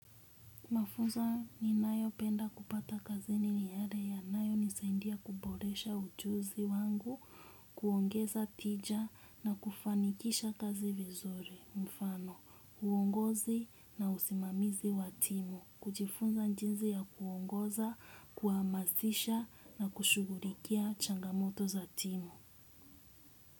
Mafunzo ninayopenda kupata kazi ni ni yale yanayonisaindia kuboresha ujuzi wangu, kuongeza tija na kufanikisha kazi vizori, mfano, uongozi na usimamizi wa timu, kujifunza jinsi ya kuongoza, kuhamasisha na kushugulikia changamoto za timu.